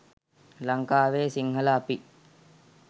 ලංකාවේ සිංහල අපි